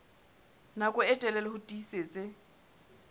nako e telele ho tiisitse